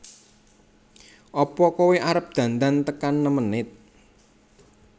Apa koe arep dandan tekan nem menit